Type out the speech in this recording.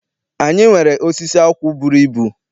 Anyị nwere osisi akwụ bụrụ ibu.